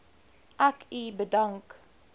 ek u bedank